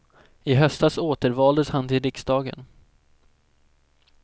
I höstas återvaldes han till riksdagen.